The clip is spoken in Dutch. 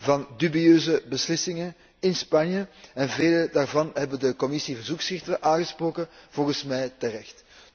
van dubieuze beslissingen in Spanje en velen daarvan hebben de Commissie verzoekschriften aangesproken, volgens mij terecht.